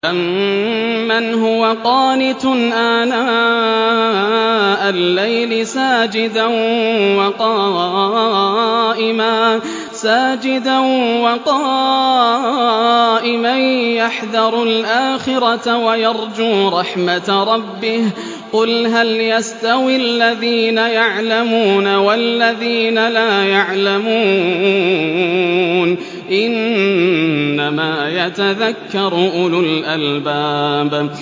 أَمَّنْ هُوَ قَانِتٌ آنَاءَ اللَّيْلِ سَاجِدًا وَقَائِمًا يَحْذَرُ الْآخِرَةَ وَيَرْجُو رَحْمَةَ رَبِّهِ ۗ قُلْ هَلْ يَسْتَوِي الَّذِينَ يَعْلَمُونَ وَالَّذِينَ لَا يَعْلَمُونَ ۗ إِنَّمَا يَتَذَكَّرُ أُولُو الْأَلْبَابِ